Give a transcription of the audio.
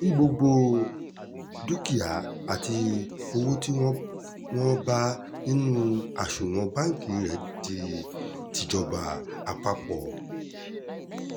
kí gbogbo dúkìá àti owó tí wọ́n wọ́n bá nínú àsunwọ̀n bámkí rẹ̀ di tìjọba àpapọ̀